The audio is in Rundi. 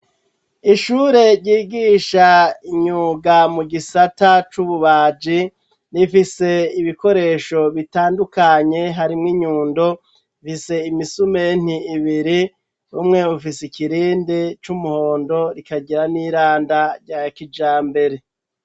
Ishure ryigisha imyuga mu gisata c'ububaji rifise ibikoresho bitandukanye harimw inyundo rifise imisumeno ibiri umwe bufise ikirindi c'umuhondo rikagira n'iranda rya kijambere.